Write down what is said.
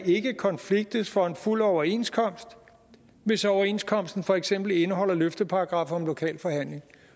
konfliktes for en fuld overenskomst hvis overenskomsten for eksempel indeholder løfteparagraffer om lokal forhandling